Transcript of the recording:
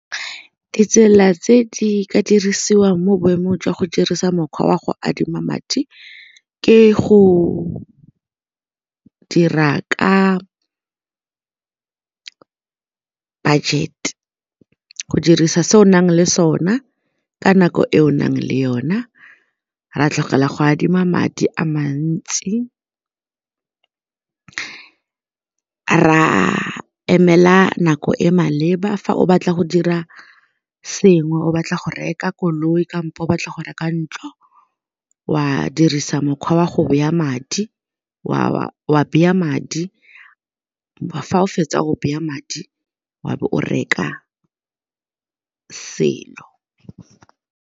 Ditsela tse di ka dirisiwang mo boemong jwa go dirisa mokgwa wa go adima madi ke go dira ka budget, go dirisa se o nang le sona ka nako e o nang le yona, ra tlogela go adima madi a mantsi, ra emela nako e maleba fa o batla go dira sengwe o batla go reka koloi kampo o batla go reka ntlo wa dirisa mokgwa wa go baya madi wa beye madi, fa o fetsa go baya madi wa be o reka selo.